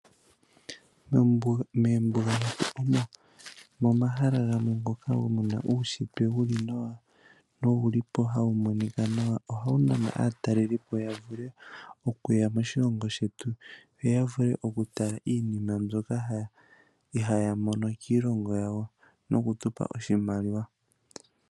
Moombuga omo momahala gamwe ngoka muna uuntshitwe wuli nawa nowuli po hawu monika nawa. Ohawu nana aatalelipo ya vule okuya moshilongo shetu yo ya vule okutala iinima mbyoka ihaaya mono kiilongo yawo nokutupa oshimaliwa.